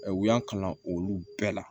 Ɛ u y'an kalan olu bɛɛ la